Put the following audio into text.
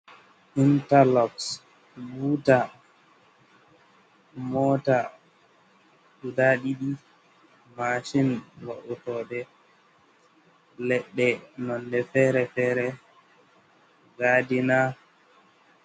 Interlocks, buta, mota guda ɗiɗi, machine va'otoɗe leɗɗe nonde fere-fere, gadina...